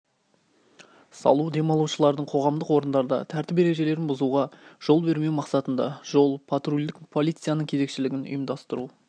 салу демалушылардың қоғамдық орындарда тәртіп ережелерін бұзуға жол бермеу мақсатында жол потрульдік полицияның кезекшілігін ұйымдастыру